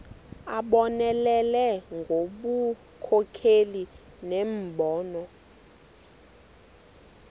abonelele ngobunkokheli nembono